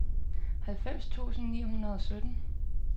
halvfems tusind ni hundrede og sytten